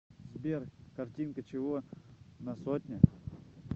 сбер картинка чего на сотне